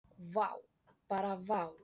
Vá, bara vá.